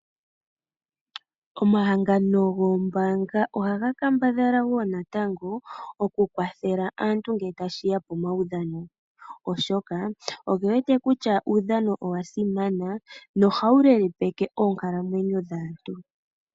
Omahangano goombaanga ohaga kambadhala woo natango okukwathela aantu ngele tashi ya komaudhano, oshoka oge wete kutya omaudhano oga simana nohawu lelepeke oonkalamwenyo dhaantu.